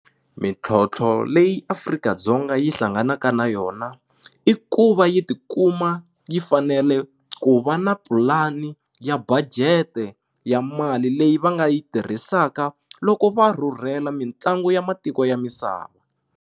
Mintlhontlho leyi Afrika-Dzonga yi hlanganaka na yona i ku va yi tikuma yi fanele ku va na pulani ya budget ya mali leyi va nga yi tirhisaka loko va rhurhela mitlangu ya matiko ya misava.